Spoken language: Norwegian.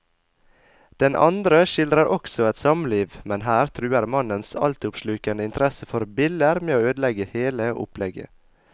Den andre skildrer også et samliv, men her truer mannens altoppslukende interesse for biller med å ødelegge hele opplegget.